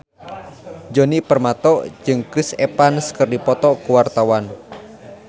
Djoni Permato jeung Chris Evans keur dipoto ku wartawan